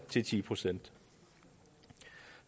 til ti procent